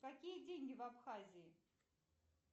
какие деньги в абхазии